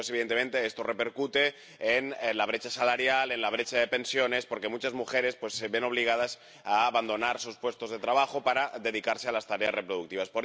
Y después, evidentemente, esto repercute en la brecha salarial y en la brecha de pensiones, porque muchas mujeres se ven obligadas a abandonar sus puestos de trabajo para dedicarse a las tareas de cuidados.